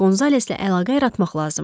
Qonzaleslə əlaqə yaratmaq lazım idi.